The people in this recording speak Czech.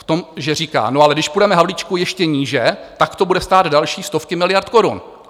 V tom, že říká no, ale když půjdeme, Havlíčku, ještě níže, tak to bude stát další stovky miliard korun.